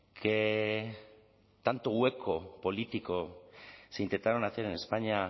que tanto hueco político se intentaron hacer en españa